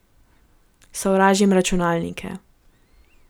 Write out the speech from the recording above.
Sovražim računalnike.